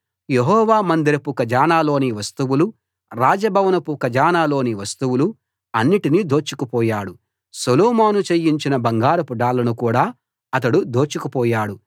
యెహోవా మందిరపు ఖజనాలోని వస్తువులు రాజభవనపు ఖజనాలోని వస్తువులు అన్నిటినీ దోచుకుపోయాడు సొలొమోను చేయించిన బంగారపు డాళ్లను కూడా అతడు దోచుకుపోయాడు